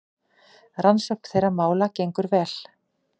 Rannsókn þeirra mála gengur vel.